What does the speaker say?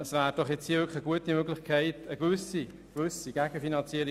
Das wäre nun wirklich eine gute Gelegenheit für eine gewisse Gegenfinanzierung.